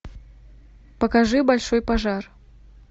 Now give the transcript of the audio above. покажи большой пожар